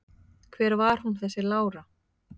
Hver var hún þessi Lára?